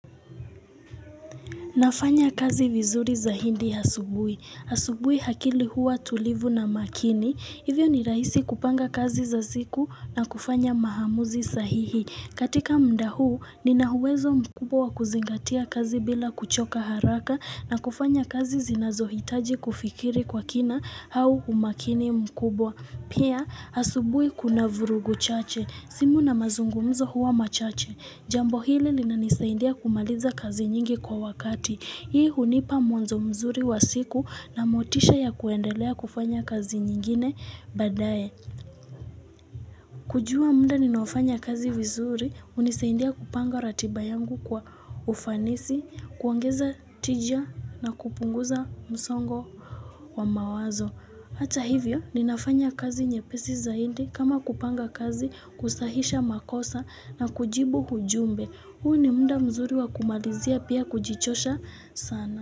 Nafanya kazi vizuri zaidi asubuhi. Asubuilhi hlakili huwa tulivu na makini. Hivyo ni rahisi kupanga kazi za ziku na kufanya maamuzi sahihi. Katika muda huu, nina uwezo mkubwa wa kuzingatia kazi bila kuchoka haraka na kufanya kazi zinazohitaji kufikiri kwa kina au umakini mkubwa. Pia, asubuhi kuna vurugu chache. Simu na mazungumzo huwa machache. Jambo hili linanisaindia kumaliza kazi nyingi kwa wakati. Hii hunipa mwanzo mzuri wa siku na motisha ya kuendelea kufanya kazi nyingine baadaye. Kujua muda ninaofanya kazi vizuri, hunisaindia kupanga ratiba yangu kwa ufanisi, kuongeza tija na kupunguza msongo wa mawazo. Hata hivyo, ninafanya kazi nyepesi zaidi kama kupanga kazi kusahisha makosa na kujibu ujumbe. Huu ni muda mzuri wa kumalizia pia kujichosha sana.